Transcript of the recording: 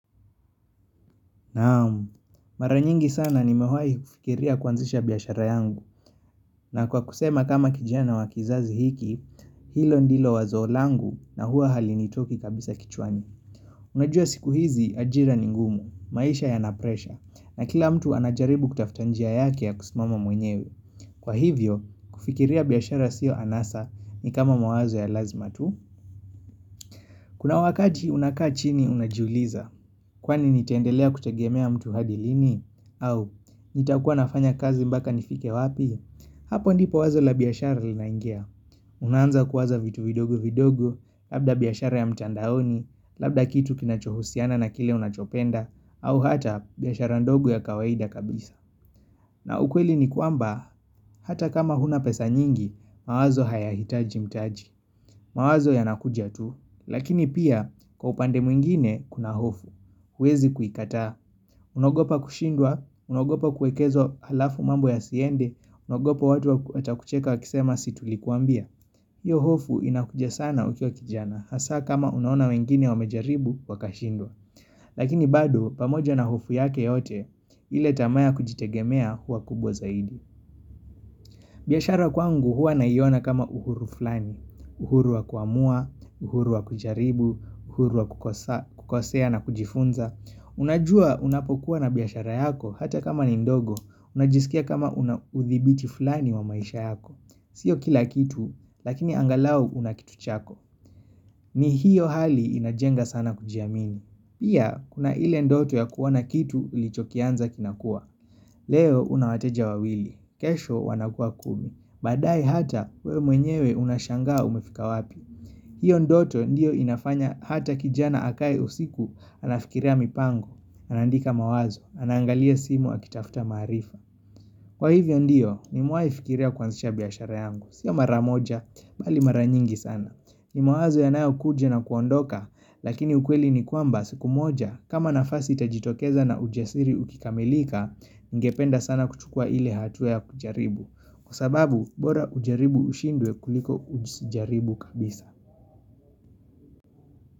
Naam, mara nyingi sana nimewahi kufikiria kuanzisha biashara yangu na kwa kusema kama kijana wa kizazi hiki, hilo ndilo wazo langu na huwa halinitoki kabisa kichwani Unajua siku hizi ajira ni ngumu, maisha yana presha na kila mtu anajaribu kutafuta njia yake ya kusimama mwenyewe. Kwa hivyo, kufikiria biashara sio anasa ni kama mawazo ya lazima tu Kuna wakati unakaa chini unajiuliza Kwani nitaendelea kutegemea mtu hadi lini? Au, nitakuwa nafanya kazi mpaka nifike wapi? Hapo ndipo wazo la biashara linaingia. Unaanza kuwaza vitu vidogo vidogo, labda biashara ya mtandaoni, labda kitu kinachohusiana na kile unachopenda, au hata biashara ndogo ya kawaida kabisa. Na ukweli ni kwamba, hata kama huna pesa nyingi, mawazo hayahitaji mtaji. Mawazo yanakuja tu, lakini pia kwa upande mwingine kuna hofu. Huwezi kuikataa. Unaogopa kushindwa, unaogopa kuwekeza halafu mambo yasiende, unaogopa watu watakucheka wakisema si tulikuambia. Hiyo hofu inakuja sana ukiwa kijana, hasa kama unaona wengine wamejaribu wakashindwa. Lakini bado, pamoja na hofu yake yote, ile tamaa ya kujitegemea huwa kubwa zaidi. Biashara kwangu huwa naiona kama uhuru fulani. Uhuru wa kuamua, uhuru wa kujaribu, uhuru wa kukosea na kujifunza. Unajua unapokuwa na biashara yako hata kama ni ndogo unajisikia kama unauthibiti fulani wa maisha yako siyo kila kitu, lakini angalau una kitu chako ni hiyo hali inajenga sana kujiamini. Pia, kuna ile ndoto ya kuona kitu ulichokianza kinakua Leo una wateja wawili, kesho wanakuwa kumi. Baadaye hata wewe mwenyewe unashangaa umefika wapi hiyo ndoto ndiyo inafanya hata kijana akae usiku anafikiria mipango, anaandika mawazo, anaangalia simu akitafuta maarifa Kwa hivyo ndiyo, nimewahi fikiria kuanzisha biashara yangu. Siyo mara moja, bali mara nyingi sana. Ni mawazo yanayokuja na kuondoka. Lakini ukweli ni kwamba siku moja kama nafasi itajitokeza na ujasiri ukikamilika, ningependa sana kuchukua ile hatua ya kujaribu Kwa sababu, bora ujaribu ushindwe kuliko usijaribu kabisa.